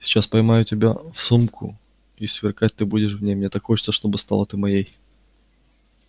сейчас поймаю тебя в сумку и сверкать ты будешь в ней мне так хочется чтобы стала ты моей